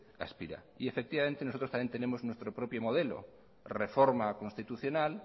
aspira y efectivamente nosotros también tenemos nuestro propio modelo reforma constitucional